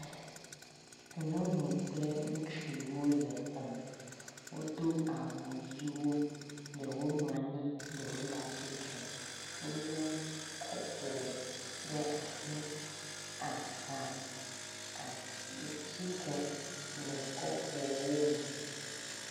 Nyɔnu kple ŋutsu wole xɔme. Wodo awu ʋiwo. Ɖewo nɔ anyi, ɖewo le atsitre. Wolé kɔpu ɖe asi, aha atsike le kɔpuawo me